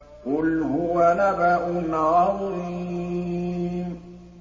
قُلْ هُوَ نَبَأٌ عَظِيمٌ